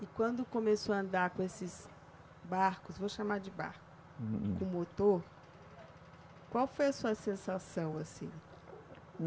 E quando começou a andar com esses barcos, vou chamar de barco, com motor, qual foi a sua sensação assim?